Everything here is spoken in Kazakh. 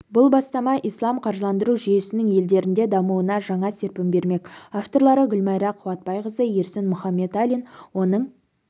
бұл бастама ислам қаржыландыру жүйесінің елдерінде дамуына жаңа серпін бермек авторлары гүлмайра қуатбайқызы ерсін мұхаметалин оның